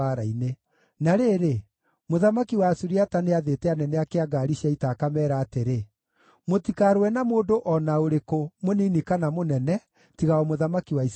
Na rĩrĩ, mũthamaki wa Asuriata nĩathĩte anene ake a ngaari cia ita akameera atĩrĩ, “Mũtikarũe na mũndũ o na ũrĩkũ, mũnini kana mũnene, tiga o mũthamaki wa Isiraeli.”